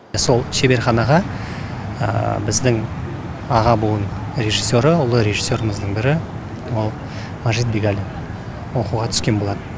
сол шеберханаға біздің аға буын режиссері ұлы режиссеріміздің бірі ол мәжит бегалин оқуға түскен болатын